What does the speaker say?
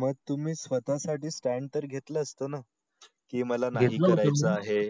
मग तुम्ही स्वता साठी stand तर घेतल असत ना की मला नाही करायच आहे